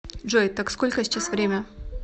джой так сколько сейчас время